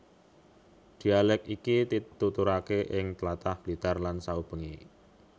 Dhialèk iki dituturake ing tlatah Blitar lan saubengé